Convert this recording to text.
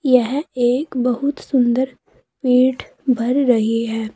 यह एक बहुत सुंदर पेठ भर रही है।